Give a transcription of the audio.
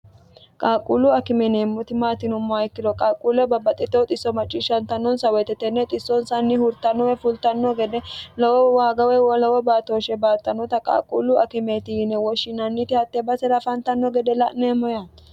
qaaqquullu akime Yineemmoti maati yinummoha ikkiro qaaqquulle babbaxxitino xisso macciishshantannonsa woyite tenne xissonsanni hurtanno fultanno gede lowo waaga woy lowo baatooshshe baattannota qaaqquullu akimeeti yiine woshshinanniti hatte basera afantanno gede la'neemmo yaate.